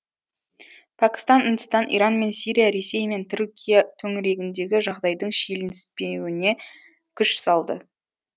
пәкістан үндістан иран мен сирия ресей мен түркия төңірегіндегі жағдайдың шиеленіспеуіне күш салды